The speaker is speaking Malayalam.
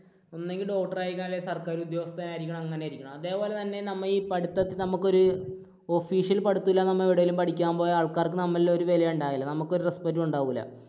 നമ്മൾ ഒന്നെങ്കിൽ doctor ആയിരിക്കണം അല്ലെങ്കിൽ സർക്കാർ, സർക്കാർ ഉദ്യോഗസ്ഥൻ ആയിരിക്കണം, അങ്ങനെ ആയിരിക്കണം. അതേപോലെതന്നെ നമ്മൾ ഈ പഠിത്തത്തിൽ നമുക്കൊരു official പഠിത്തം ഇല്ലാതെ നമ്മൾ എവിടെയെങ്കിലും പഠിക്കാൻ പോയാൽ ആൾക്കാർക്ക് നമ്മളോട് ഒരു വിലയും ഉണ്ടാകില്ല നമുക്ക് ഒരു respect ഉം ഉണ്ടാകില്ല